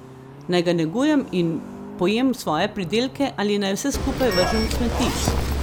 Naj ga negujem in pojem svoje pridelke ali naj vse skupaj vržem v smeti?